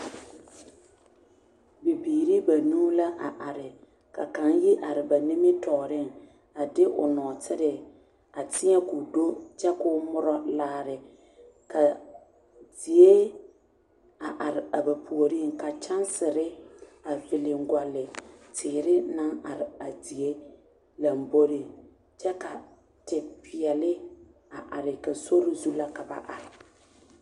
Bibiire banuu la a are ka kaŋ yi are ba nimitooreŋ a de o nɔɔtire a teɛ koo do kyɛ koo muro laare ka zie a are a ba puoriŋ ka kyɛnsire a viliŋgɔlle teere naŋ are a zie lamboreŋ kyɛ ka te peɛle a are ka sori zu la ka ba are.